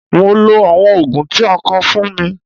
Mo lo àwọn Ògùn tí a kọ fún mi.